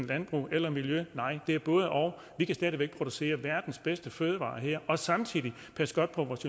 landbrug eller miljø nej det er både og vi kan stadig væk producere verdens bedste fødevarer her og samtidig passe godt på vores